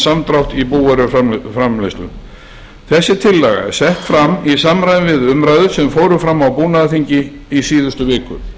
samdrátt í búvöruframleiðslu þessi tillaga er sett fram í samræmi við umræður sem fóru fram á búnaðarþingi í síðustu viku